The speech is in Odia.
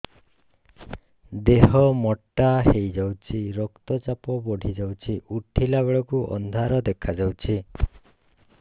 ଦେହ ମୋଟା ହେଇଯାଉଛି ରକ୍ତ ଚାପ ବଢ଼ି ଯାଉଛି ଉଠିଲା ବେଳକୁ ଅନ୍ଧାର ଦେଖା ଯାଉଛି